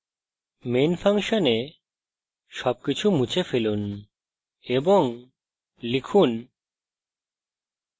main ফাংশনে সবকিছু মুছে ফেলুন এবং লিখুন